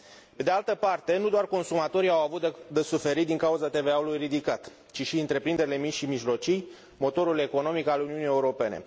Pe de altă parte, nu doar consumatorii au avut de suferit din cauza TVA ului ridicat, ci și întreprinderile mici și mijlocii, motorul economic al Uniunii Europene.